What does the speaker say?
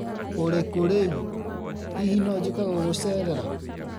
ũrĩ kũ rĩu? Hihi no njũke gũgucerera?